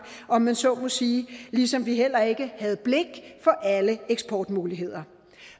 om jeg så må sige ligesom vi heller ikke havde blik for alle eksportmuligheder